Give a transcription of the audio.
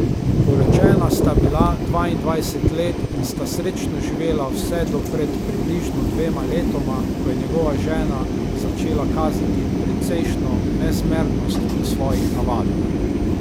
Poročena sta bila dvaindvajset let in sta srečno živela vse do pred približno dvema letoma, ko je njegova žena začela kazati precejšnjo nezmernost v svojih navadah.